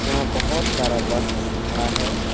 यहाँ बहुत सारा बस खड़ा है।